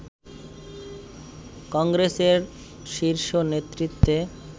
কংগ্রেসের শীর্ষ নেতৃত্বে